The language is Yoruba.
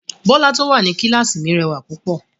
Bọ́lá tó wà ní kíláàsì mi rẹwà púpọ̀